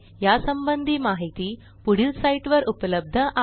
यासंबंधी माहिती पुढील साईटवर उपलब्ध आहे